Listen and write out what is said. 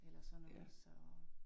Eller sådan noget så